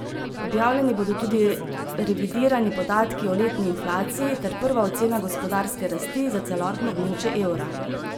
Objavljeni bodo tudi revidirani podatki o letni inflaciji ter prva ocena gospodarske rasti za celotno območje evra.